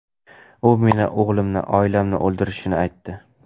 U meni, o‘g‘limni, oilamni o‘ldirishini aytdi.